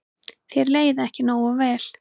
Þér leið ekki nógu vel.